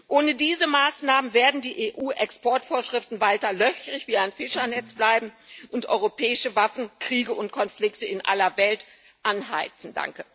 Ohne diese Maßnahmen werden die EU Exportvorschriften weiter löchrig wie ein Fischernetz bleiben und europäische Waffen Kriege und Konflikte in aller Welt anheizen.